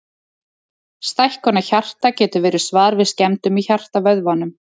Stækkun á hjarta getur verið svar við skemmdum í hjartavöðvanum.